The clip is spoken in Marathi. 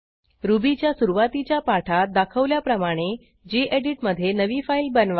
रुबीच्या सुरूवातीच्या पाठात दाखवल्याप्रमाणे गेडीत मधे नवी फाईल बनवा